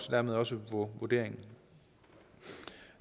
dermed også vurderingen